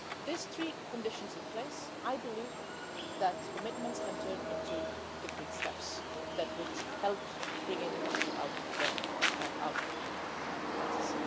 If we have these three conditions in place, I believe that commitments can turn into concrete steps that would help lift the country out of the